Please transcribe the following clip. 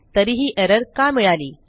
तरीही एरर का मिळाली